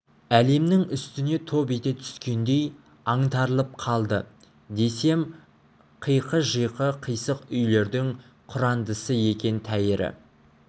әлемнің үстіне топ ете түскендей аңтарылып қалды десем қиқы-жиқы қисық үйлердің құрандысы екен тәйірі